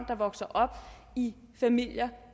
der vokser op i familier